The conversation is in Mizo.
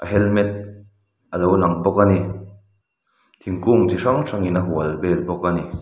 helmet alo lang bawk ani thingkung chi hrang hrangin a hual vel bawk a ni.